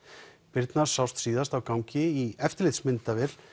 birna sást síðast á gangi í eftirlitmyndavél